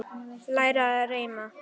Læra að reima